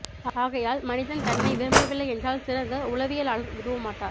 ஆகையால் மனிதன் தன்னை விரும்பவில்லை என்றால் சிறந்த உளவியலாளர் உதவ மாட்டார்